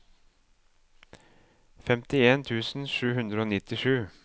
femtien tusen sju hundre og nittisju